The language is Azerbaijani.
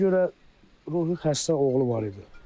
Deyilənə görə ruhi xəstə oğlu var idi.